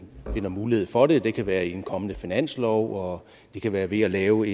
finder mulighed for det det kan være i en kommende finanslov og det kan være ved at lave